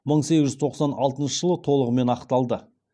мың сегіз жүз тоқсан алтыншы жылы толығымен ақталды